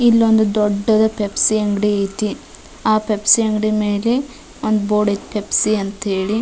ಇಲ್ಲೊಂದು ದೊಡ್ಡದ ಪೆಪ್ಸಿ ಅಂಗಡಿ ಐತಿ ಆ ಪೆಪ್ಸಿ ಅಂಗಡಿ ಮೇಲ್ರ್ ಒಂದು ಬೋರ್ಡ್ ಐತ್ ಪೆಪ್ಸಿ ಅಂತ್ ಹೇಲಿ.